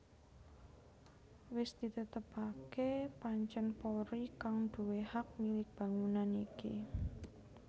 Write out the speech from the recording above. Wis ditetepaké pancèn Polri kang nduwé hak milik bangunan iki